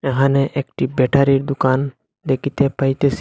এহানে একটি ব্যাটারির দোকান দেকিতে পাইতেসি।